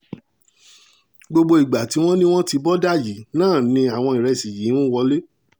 gbogbo ìgbà tí wọ́n ní wọ́n ti bọ́dà yìí náà ni àwọn ìrẹsì yìí ń wọ́lẹ̀